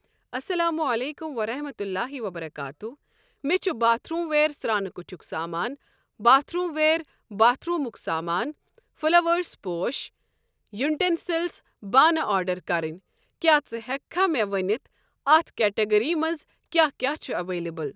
اسلام علیکم ورحمۃ اللہ تعالٰی وبرکاتہ مےٚ چھُ باتھروٗموَیرسرٛانہٕ کُٹھیُک سامانہٕ باتھروٗموِیر باتھ روٗمُک سامان، فٔلَوٲرٕس پوش، یُٹینسٔلس بانہٕ آرڈر کرٕنۍ کیٛاہ ژٕ ہٮ۪کہٕ مےٚ ونِتھ اَتھ کیٹگری منٛز کیٛاہ کیٛاہ چھُ اویلیبٕل؟